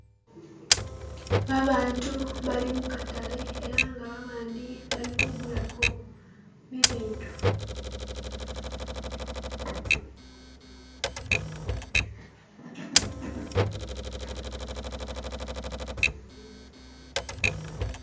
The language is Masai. Babantu bali mukatale era nga babandi bali kugulako bibintu.